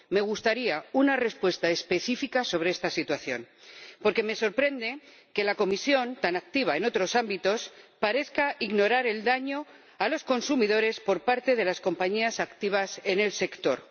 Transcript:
Me gustaría una respuesta específica sobre esta situación, porque me sorprende que la Comisión —tan activa en otros ámbitos— parezca ignorar el daño a los consumidores por parte de las compañías activas en el sector.